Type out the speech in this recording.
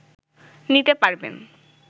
নিতে পারবেন